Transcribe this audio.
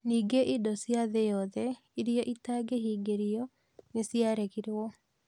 Ningĩ indo cia thĩ yothe iria itangĩhingĩrio nĩ ciaregirũo.